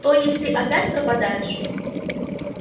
то есть ты опять пропадаешь